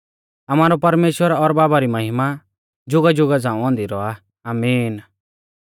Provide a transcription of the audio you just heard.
आमारौ परमेश्‍वर और बाबा री महिमा जुगाजुगा झ़ांऊ औन्दी रौआ आमीन